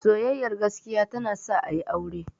Soyayyar gaskiya ta na sa a yi aure